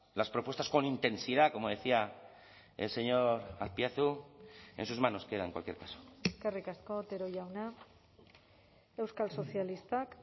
las propuestas con intensidad como decía el señor azpiazu en sus manos queda en cualquier caso eskerrik asko otero jauna euskal sozialistak